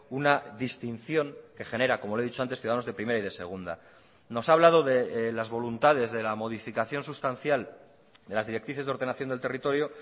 una distinción que genera como le he dicho antes ciudadanos de primera y de segunda nos ha hablado de las voluntades de la modificación sustancial de las directrices de ordenación del territorio